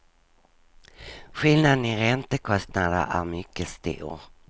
Skillnaden i räntekostnader är mycket stor.